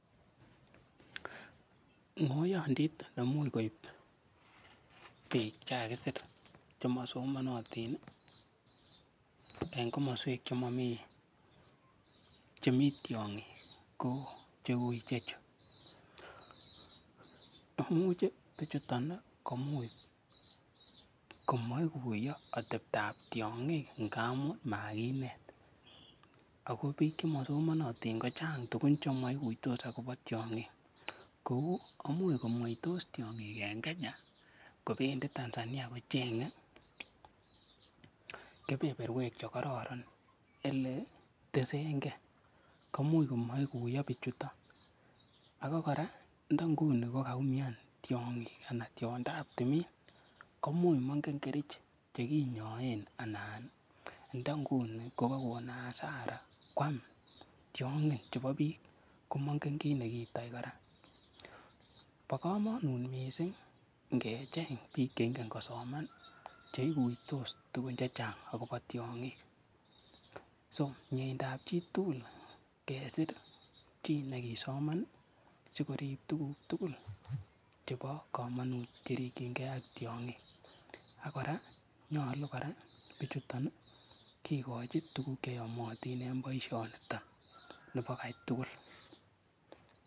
Ng'oyondit nemuch koip biik che kakakisir che masomanatin, eng komaswek che mamii, che mii tiong'ik ko cheui che chu. Imuche bichuton, komuch komache koiyo ateptop tiong'ik ngaamun makinet. Ako biik che masomanatin kochang tugun che maikutos akobo tiong'ik. Kou imuch komweitos tiong'ik en Kenya kobendi Tanzania kocheng'e keberberwek che kararan ole tesengei. Komuch komaiguiyo bichuton. Ako kora, nda nguni kokaumian tiong'ik anan tiondap tiong'ik, koimuch mengen kerich chekinyaen, anan ndanguni kokakon asara kwam tiong'in chebo biik. Komangen kiy nekiitoi kora. Bo kamanut missing ngecheng biik che ingen kosoman, che ikuitos tugun chechang akobo tiong'ik. So miendap chitugul kesir chi nekisoman, sikorip tuguk tugul chebo kamanut cherikchinkey ak tiong'ik. Ak kora, nyolu kora bichuton kekochin tuguk che yamatin eng boisoniton nebo kai tugul.